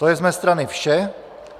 To je z mé strany vše.